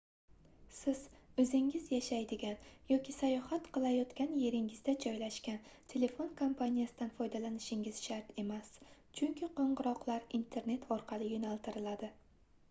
siz oʻzingiz yashaydigan yoki sayohat qilayotgan yeringizda joylashgan telefon kompaniyasidan foydalanishingiz shart emas chunki qoʻngʻiroqlar internet orqali yoʻnaltiriladi